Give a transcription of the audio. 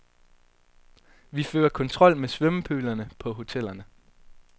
Vi fører kontrol med svømmepølerne på hotellerne.